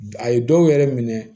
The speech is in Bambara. A ye dɔw yɛrɛ minɛ